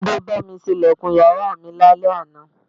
Túndé bá mi ṣe ilẹ̀kùn yàrá mi lálẹ́ àná